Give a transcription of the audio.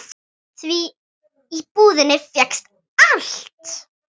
Því í búðinni fékkst allt.